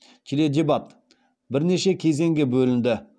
теледебат бірнеше кезеңге бөлінді